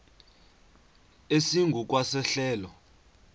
esingu kwa sehlelo